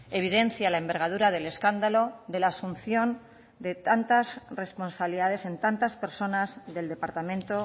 evidencia la envergadura del escándalo de la asunción de tantas responsabilidades en tantas personas del departamento